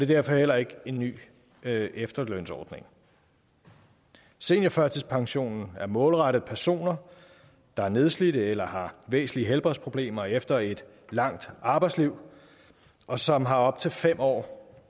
derfor heller ikke en ny efterlønsordning seniorførtidspensionen er målrettet personer der er nedslidte eller har væsentlige helbredsproblemer efter et langt arbejdsliv og som har op til fem år